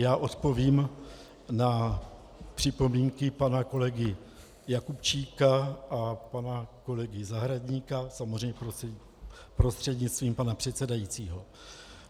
Já odpovím na připomínky pana kolegy Jakubčíka a pana kolegy Zahradníka, samozřejmě prostřednictvím pana předsedajícího.